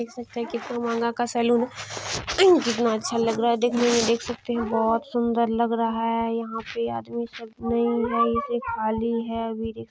देख सकते हैं की कितना महंगा का सलून है एंड कितना अच्छा लग रहा हैं देखने में देख सकते हैं बहुत सुंदर लग रहा हैं यहाँ पे आदमी सब नई नई से खाली हैं अभी--